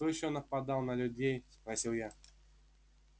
кто ещё нападал на людей спросил я